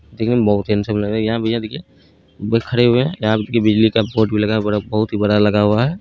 दिखने मे बहुत ही हैन्सम लगरे है यहाँ भैया देखिए खरे हुए है बिजली का बोर्ड लगा है बहुत ही बड़ा लगा हुआ है।